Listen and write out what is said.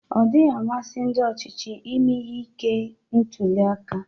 Ọdịghị amasị ndi ochịchị ime ihe ike ntuliaka.